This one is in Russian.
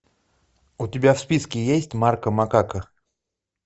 у тебя в списке есть марко макако